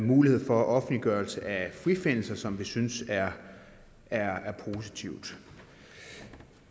mulighed for offentliggørelse af frifindelser som vi synes er er positivt